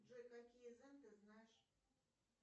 джой какие зен ты знаешь